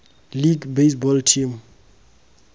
league baseball team